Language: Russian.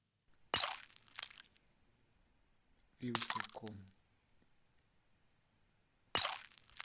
вилсаком